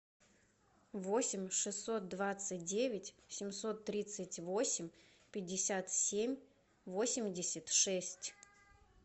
восемь шестьсот двадцать девять семьсот тридцать восемь пятьдесят семь восемьдесят шесть